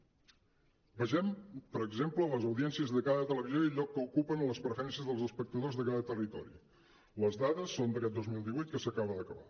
vegem per exemple les audiències de cada televisió i el lloc que ocupen en les preferències dels espectadors de cada territori les dades són d’aquest dos mil divuit que s’aca·ba d’acabar